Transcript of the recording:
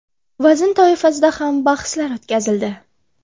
vazn toifasida ham bahslar o‘tkazildi.